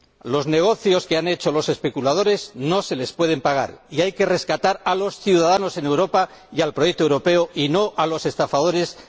Los negocios que han hecho los especuladores no se les pueden pagar, y hay que rescatar a los ciudadanos en Europa y al proyecto europeo, y no a los estafadores de la banca.